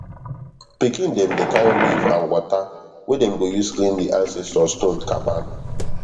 pikin dem dey carry leaf and water wey dem go use clean di ancestor stone caban